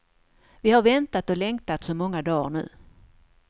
Vi har väntat och längtat så många dagar nu.